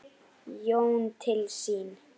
Jón til sín.